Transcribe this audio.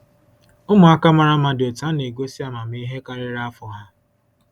Ụmụaka mara mma dị otu a na-egosi amamihe karịrị afọ ha.